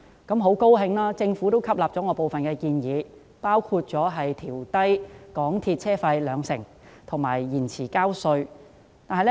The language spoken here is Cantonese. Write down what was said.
我很高興，政府吸納了我提出的部分建議，包括調低港鐵公司車費兩成及延長繳交稅款的限期。